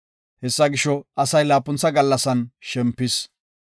Hesaa gisho, asay laapuntha gallasan shempis.